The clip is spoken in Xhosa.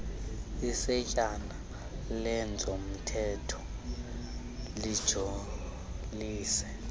isetyana lezomthetho lijolise